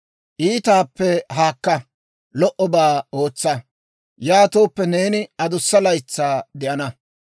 Iitaappe haakka; lo"obaa ootsa. Yaatooppe, neeni adussa laytsaa de'ana.